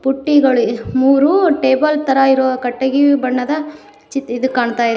ಬುಟ್ಟಿಗಳು ಮೂರು ಟೇಬಲ್ ತರ ಇರುವ ಕಟ್ಟಗಿವಿ ಬಣ್ಣದ ಚಿ ಇದ್ ಕಾಣತ--